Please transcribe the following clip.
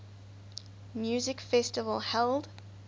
music festival held